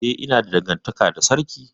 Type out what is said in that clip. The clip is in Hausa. Eh, ina da dangantaka da sarki.